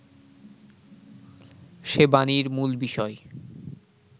সে বাণীর মূল বিষয়